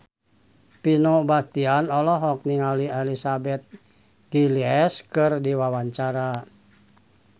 Vino Bastian olohok ningali Elizabeth Gillies keur diwawancara